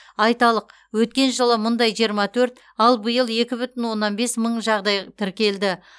айталық өткен жылы мұндай жиырма төрт ал биыл екі бүтін оннан бес мың жағдай тіркелді